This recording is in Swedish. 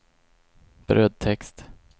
brödtext